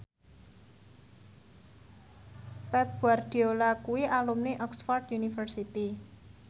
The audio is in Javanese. Pep Guardiola kuwi alumni Oxford university